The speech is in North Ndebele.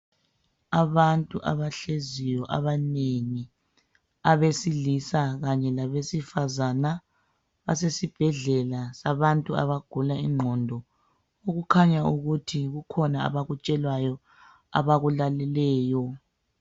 Abantu abahleziyo abanengi abesilisa kanye labesifazana basesibhedlela sabantu abagula ingqondo okukhanya ukuthi kukhona abakutshelwayo abakulaleleyo